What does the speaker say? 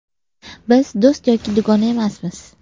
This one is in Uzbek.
Biz do‘st yoki dugona emasmiz.